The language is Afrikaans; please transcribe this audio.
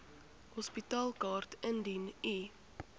hospitaalkaart indien u